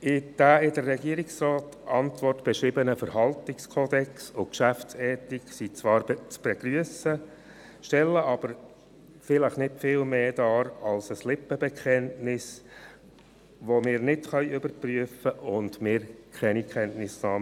Der in der Antwort des Regierungsrates beschriebene Verhaltenskodex und die Geschäftsethik sind zwar zu begrüssen, stellen aber nicht viel mehr dar als vielleicht ein Lippenbekenntnis, welches wir nicht überprüfen können und wovon wir keine Kenntnisse haben.